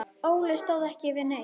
Óli stóð ekki við neitt.